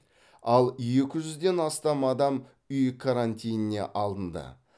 ал екі жүзден астам адам үй карантиніне алынды